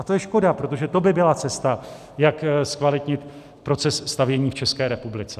A to je škoda, protože to by byla cesta, jak zkvalitnit proces stavění v České republice.